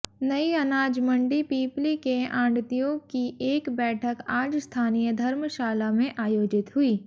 नई अनाज मंडी पिपली के आढ़तियों की एक बैठक आज स्थानीय धर्मशाला में आयोजित हुई